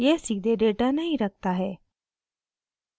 यह सीधे डेटा नहीं रखता है